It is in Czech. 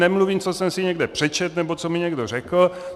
Nemluvím, co jsem si někde přečetl nebo co mi někdo řekl.